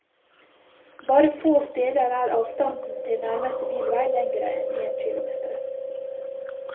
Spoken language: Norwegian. Bare få steder er avstanden til nærmeste bilvei lengre enn én kilometer.